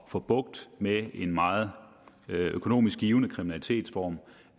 at få bugt med en meget økonomisk givtig kriminalitetsform